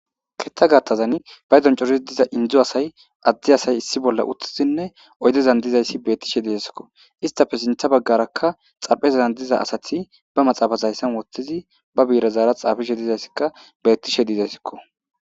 Ketha gathazan paydon keehippe darid diza Indo asay , adde asay issippe utidinne oydezan dizays betishe de'esko , istappe sinthe bagaraka xaraphezan diza asat be maxafeza haysan wothid be bi'irezara xafishe dizayska betishe de'esko.